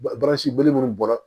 Baransi belebele minnu bɔra